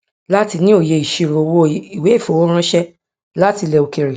láti ní òye ìṣirò owó ìwéìfowó ránṣẹ láti ilẹ òkèèrè